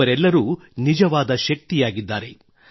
ಇವರೆಲ್ಲರೂ ನಿಜವಾದ ಶಕ್ತಿಯಾಗಿದ್ದಾರೆ